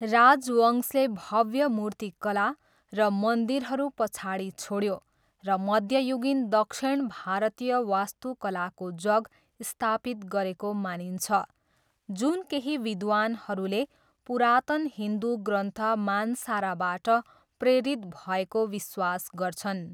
राजवंशले भव्य मूर्तिकला र मन्दिरहरू पछाडि छोड्यो र मध्ययुगीन दक्षिण भारतीय वास्तुकलाको जग स्थापित गरेको मानिन्छ, जुन केही विद्वानहरूले पुरातन हिन्दु ग्रन्थ मानसाराबाट प्रेरित भएको विश्वास गर्छन्।